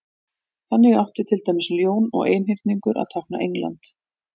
þannig átti til dæmis ljón og einhyrningur að tákna england